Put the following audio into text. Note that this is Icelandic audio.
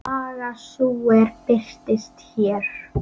Baga sú er birtist hér.